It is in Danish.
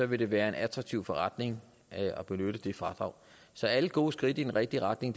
vil være en attraktiv forretning at benytte det fradrag så alle gode skridt i den rigtige retning